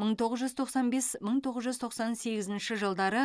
мың тоғыз жүз тоқсан бес мың тоғыз жүз тоқсан сегізінші жылдары